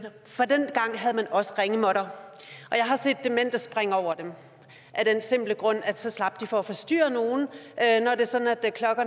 man også ringemåtter og jeg har set demente springe over dem af den simple grund at så slap de for at forstyrre nogen